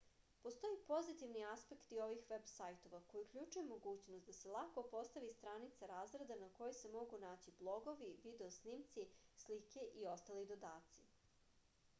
postoje i pozitivni aspekti ovih veb sajtova koji uključuju mogućnost da se lako postavi stranica razreda na kojoj se mogu naći blogovi video snimci slike i ostali dodaci